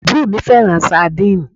Àbúrò mi fẹ́ràn sandínì